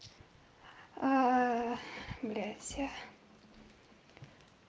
блять я